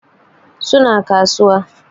Su na kasuwa